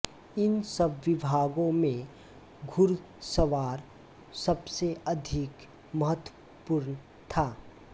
इन सब विभागों में घुड़सवार सबसे अधिक महत्वपूर्ण था